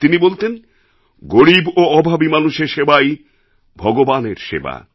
তিনি বলতেন গরীব ও অভাবী মানুষের সেবাই ভগবানের সেবা